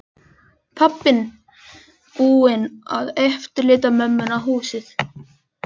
Pabbinn búinn að eftirláta mömmunni húsið.